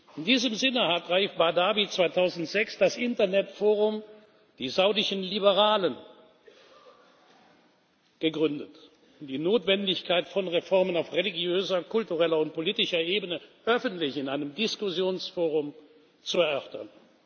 In diesem Sinne hat Raif Badawi 2006 das Internetforum Die Saudischen Liberalen gegründet, um die Notwendigkeit von Reformen auf religiöser, kultureller und politischer Ebene öffentlich in einem Diskussionsforum zu erörtern.